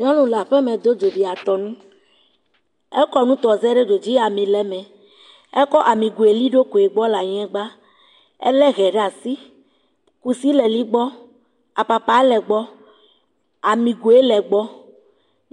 Nyɔnu le aƒeme do dzo be yeatɔ nu, ekɔ nutɔze ɖe dzo dzi ami le eme, ekɔ ami nugo li eɖokoe gbɔ le anyigba, ekɔ ehe ɖe asi, kusi le li egbɔ, apapa le egbɔ, amigoe le egbɔ,